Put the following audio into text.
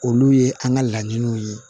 Olu ye an ka laɲiniw ye